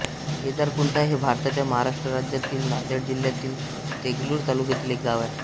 केदारकुंटा हे भारताच्या महाराष्ट्र राज्यातील नांदेड जिल्ह्यातील देगलूर तालुक्यातील एक गाव आहे